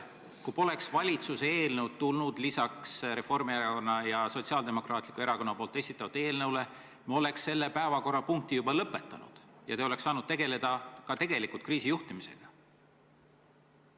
Kui poleks valitsuse eelnõu tulnud lisaks Reformierakonna ja Sotsiaaldemokraatliku Erakonna esitatud eelnõule, siis me oleks selle päevakorrapunkti juba lõpetanud ja te oleks saanud tegeleda tegelikult kriisi juhtimisega.